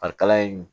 Farikalaya in